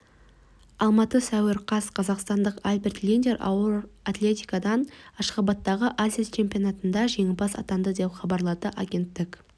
алматы сәуір қаз қазақстандық альберт линдер ауыр атлетикадан ашхабадтағы азия чемпионатында жеңімпаз атанды деп хабарлады агенттік